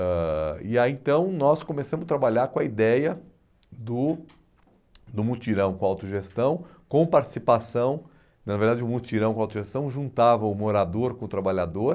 ãh... E aí então nós começamos a trabalhar com a ideia do do mutirão com autogestão, com participação, na verdade o mutirão com autogestão juntava o morador com o trabalhador,